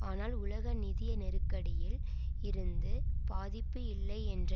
ஆனால் உலக நிதி நெருக்கடியில் இருந்து பாதிப்பு இல்லை என்ற